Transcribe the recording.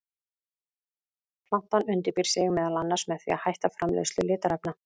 Plantan undirbýr sig meðal annars með því að hætta framleiðslu litarefna.